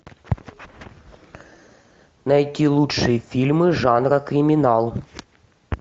найти лучшие фильмы жанра криминал